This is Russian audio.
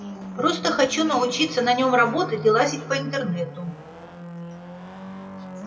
просто хочу научиться на нём работать и лазить по интернету